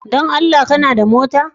Don Allah kana da mota?